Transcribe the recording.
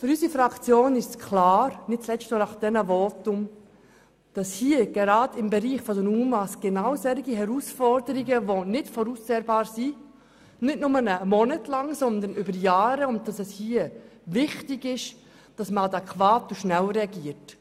Für unsere Fraktion ist klar, dass solche Herausforderungen im Bereich der UMA auch über Jahre nicht voraussehbar sind, und dass es richtig ist, hier adäquat und schnell zu reagieren.